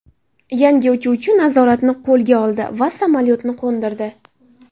Yangi uchuvchi nazoratni qo‘lga oldi va samolyotni qo‘ndirdi.